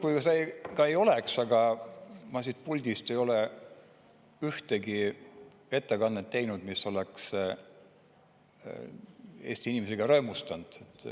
Nii kurb kui see ka ei ole, aga ma siit puldist ei ole ühtegi ettekannet teinud, mis oleks Eesti inimesi rõõmustanud.